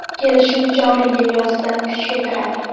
Kelishuv joriy yil yozidan kuchga kiradi.